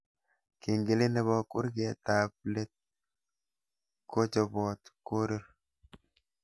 Kengelet nebo kurgetab let kochopot korir